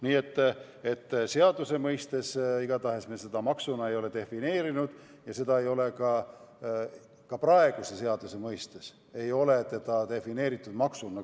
Nii et seaduse mõistes igatahes me seda maksuna ei ole defineerinud ja praeguses seaduses ei ole samuti seda defineeritud maksuna.